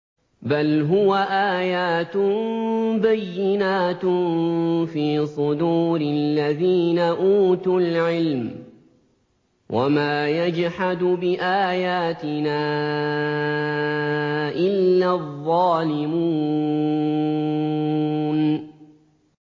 بَلْ هُوَ آيَاتٌ بَيِّنَاتٌ فِي صُدُورِ الَّذِينَ أُوتُوا الْعِلْمَ ۚ وَمَا يَجْحَدُ بِآيَاتِنَا إِلَّا الظَّالِمُونَ